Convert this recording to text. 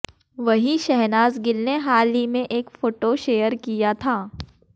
वहीं शहनाज गिल ने हाल में ही एक फोटो शेयर किया था